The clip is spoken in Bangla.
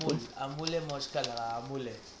আমলের মসকা লাগা আমলে`